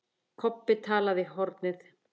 Kobbi talaði í hornið.